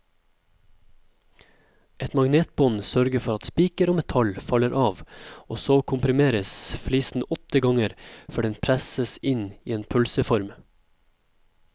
Et magnetbånd sørger for at spiker og metall faller av, og så komprimeres flisen åtte ganger før den presses inn i en pølseform.